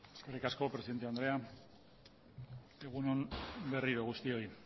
eskerrik asko presidente andrea egun on berriro guztioi